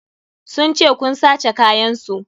Sun ce kun sace kayan su.